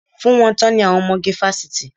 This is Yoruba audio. Fún wọn tán ni àwọn ọmọge fásitì.